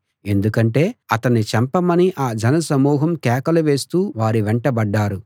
ఎందుకంటే అతణ్ణి చంపమని ఆ జనసమూహం కేకలు వేస్తూ వారి వెంటబడ్డారు